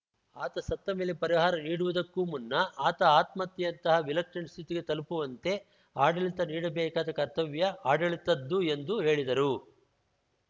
ಆತ ಸತ್ತ ಮೇಲೆ ಪರಿಹಾರ ನೀಡುವುದಕ್ಕೂ ಮುನ್ನ ಆತ ಆತ್ಮಹತ್ಯೆಯಂತಹ ವಿಲಕ್ಷಣ ಸ್ಥಿತಿಗೆ ತಲುಪುವಂತೆ ಆಡಳಿತ ನೀಡಬೇಕಾದ ಕರ್ತವ್ಯ ಆಡಳಿತದ್ದು ಎಂದು ಹೇಳಿದರು